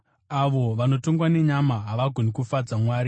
Avo vanotongwa nenyama havagoni kufadza Mwari.